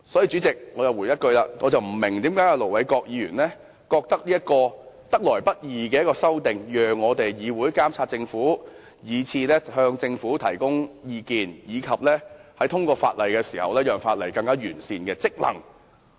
主席，這項得來不易的修訂，讓議會不單可以監察政府及向政府提供意見，亦讓議員履行令通過的法例更完善的職能。